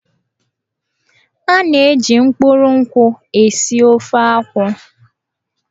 A na-eji mkpụrụ nkwụ esi ofe akwụ.